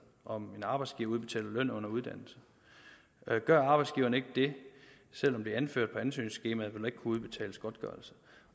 om en arbejdsgiver udbetaler løn under uddannelse gør arbejdsgiveren ikke det selv om det er anført på ansøgningsskemaet vil udbetales godtgørelse